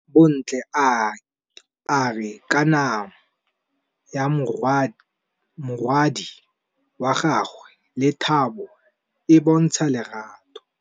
Bontle a re kamanô ya morwadi wa gagwe le Thato e bontsha lerato.